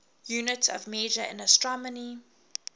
units of measure in astronomy